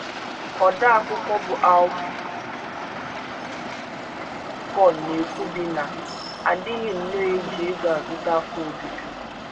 Odeakụkọ bụ́ Alfie Kohn na - ekwubi na “ a dịghị nnọọ eji ego azụta afọ ojuju....